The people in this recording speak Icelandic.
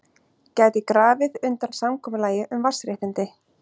Gæti grafið undan samkomulagi um vatnsréttindi